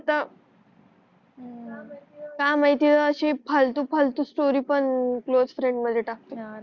का माहिती अशी फालतू फालतू स्टोरी पण क्लास फ्रेंड मध्ये टाकते यार